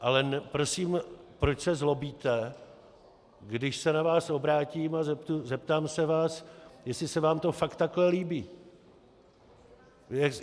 Ale prosím, proč se zlobíte, když se na vás obrátím a zeptám se vás, jestli se vám to fakt takhle líbí?